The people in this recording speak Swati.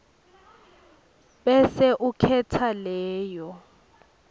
bese ukhetsa leyo